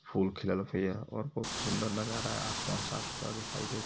फूल खिललत है यहां और बहुत सुन्दर नजारा आसमान साफ सुथरा दिखाई देत --